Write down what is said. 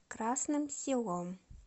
красным селом